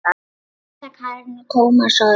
Birta Karen og Tómas Orri.